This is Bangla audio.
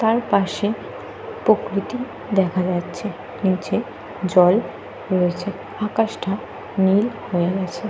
তার পাশে প্রকৃতি দেখা যাচ্ছে। নিচে জল রয়েছে। আকাশটা নীল হয়ে গেছে।